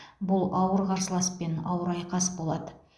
бұл ауыр қарсыласпен ауыр айқас болады